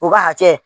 U ka hakɛ